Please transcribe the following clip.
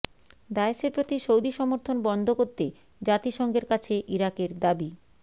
দায়েশের প্রতি সৌদি সমর্থন বন্ধ করতে জাতিসংঘের কাছে ইরাকের দাবি